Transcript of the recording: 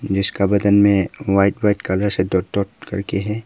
जिसका बदन में व्हाइट व्हाइट कलर से डॉट डॉट करके है।